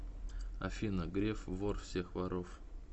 афина греф вор всех воров